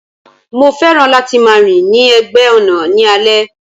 Mo fẹ́ràn láti máa rìn ní ẹ̀gbẹ́ ọ̀nà ní alẹ́.